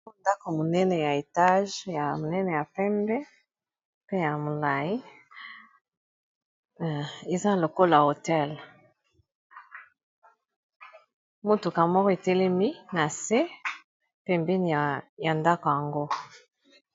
Oyo ndako monene ya etage ya monene ya pembe pe ya molayi eza lokola hotel motuka moko etelemi na se pembeni ya ndako yango.